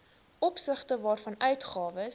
opsigte waarvan uitgawes